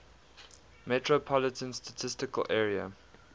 metropolitan statistical area